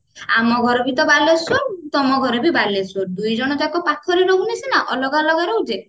ଆମ ଘର ବି ତ ବାଲେଶ୍ଵର ତମ ଘର ବି ବାଲେଶ୍ଵର ଦୁଇଜଣ ଯାକ ପାଖରେ ରହୁନେ ସିନା ଅଲଗା ଅଲଗା ରହୁଛେ